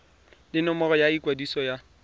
le nomoro ya ikwadiso ya